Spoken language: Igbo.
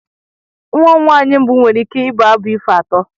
Nwa m nwanyị mbụ nwere ike ịbụ abụ ifo atọ.